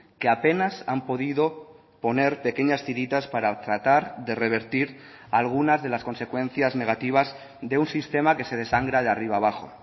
que apenas han podido poner pequeñas tiritas para tratar de revertir algunas de las consecuencias negativas de un sistema que se desangra de arriba abajo